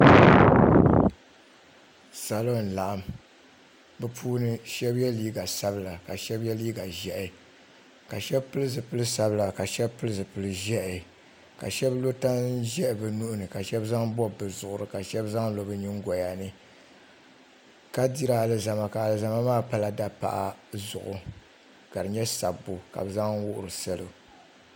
Salo n laɣim bɛ puuni sheba ye liiga piɛlla ka sheba ye liiga ʒehi ka sheba pili zipil'sabila ka sheba pili zipil'ʒehi ka sheba lo tan'ʒehi bɛ nuhini ka sheba zaŋ bobi bɛ zuɣuri ka sheba zaŋ lo bɛ nyingoyani ka diri alizama alizama maa pala dapaɣa zuɣu ka di nyɛ sabbu ka bɛ zaŋ wuhiri salo.